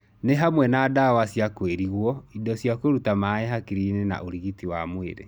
Nĩ hamwe na dawa cia kwĩrigwo, indo cia kũruta maĩ hakirinĩ na ũrigiti wa mwĩrĩ.